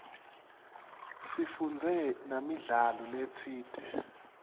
sifundze namidlalo letsite